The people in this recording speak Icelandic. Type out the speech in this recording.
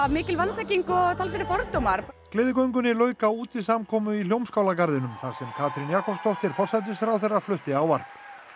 mikil vanþekking og fordómar gleðigöngunni lauk á útisamkomu í þar sem Katrín Jakobsdóttir forsætisráðherra flutti ávarp